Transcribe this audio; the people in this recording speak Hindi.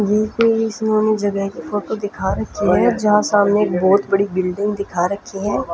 इसमें हमे जगह की फोटो दिखा रखी है जहाँ सामने एक बहुत बड़ी बिल्डिंग दिखा रखी है।